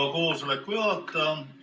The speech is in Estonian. Hea koosoleku juhataja!